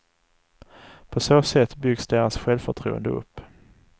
På så sätt byggs deras självförtroende upp.